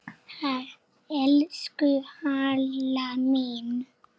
Elsku Halla mín.